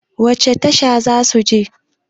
wacece Tasha za su je?